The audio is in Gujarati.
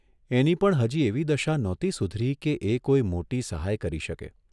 એની પણ હજી એવી દશા નહોતી સુધરી કે એ કોઇ મોટી સહાય કરી શકે.